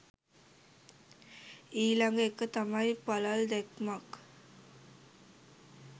ඊළඟ එක තමයි පළල් දැක්මක්